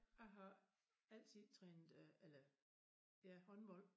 Jeg har altid trænet øh eller ja håndbold